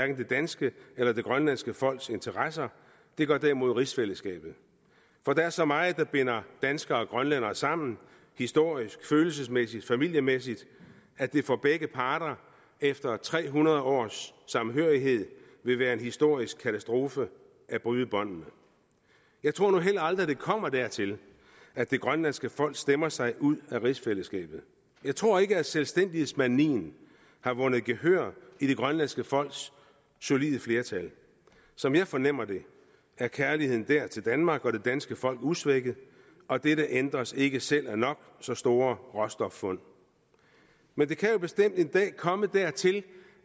det danske eller det grønlandske folks interesser det gør derimod rigsfællesskabet for der er så meget der binder danskere og grønlændere sammen historisk følelsesmæssigt familiemæssigt at det for begge parter efter tre hundrede års samhørighed vil være en historisk katastrofe at bryde båndene jeg tror nu heller aldrig at det kommer dertil at det grønlandske folk stemmer sig ud af rigsfællesskabet jeg tror ikke at selvstændighedsmanien har vundet gehør i det grønlandske folks solide flertal som jeg fornemmer det er kærligheden der til danmark og det danske folk usvækket og dette ændres ikke af selv nok så store råstoffund men det kan jo bestemt en dag komme dertil